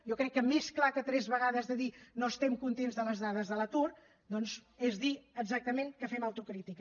jo crec que més clar que tres vegades de dir no estem contents de les dades de l’atur doncs és dir exactament que fem autocrítica